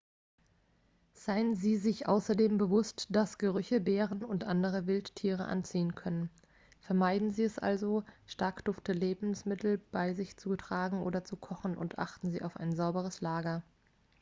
seien sie sich außerdem bewusst dass gerüche bären und andere wildtiere anziehen können vermeiden sie es also stark duftende lebensmittel bei sich zu tragen oder zu kochen und achten sie auf ein sauberes lager